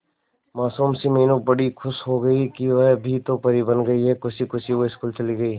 मासूम सी मीनू बड़ी खुश हो गई कि वह भी तो परी बन गई है खुशी खुशी वो स्कूल चली गई